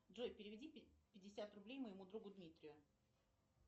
джой переведи пятьдесят рублей моему другу дмитрию